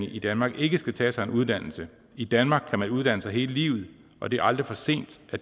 i danmark ikke skal tage sig en uddannelse i danmark kan man uddanne sig hele livet og det er aldrig for sent at